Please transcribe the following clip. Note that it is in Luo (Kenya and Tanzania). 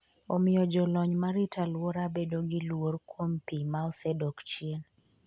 omiyo jolony marito alwora bedo gi luor kuom pi ma osedok chien